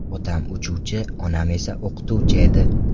Otam uchuvchi, onam esa o‘qituvchi edi.